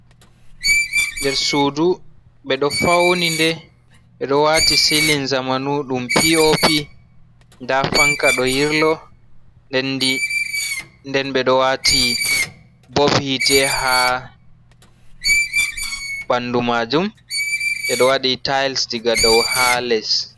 Nder sudu ɓeɗo fauni nde, ɓeɗo waati silin zamanu ɗum piopi, nda fanka ɗo yirlo, nden ɓeɗo waati bob hite ha ɓandu majum, ɓeɗo wadi tayils diga dou ha les.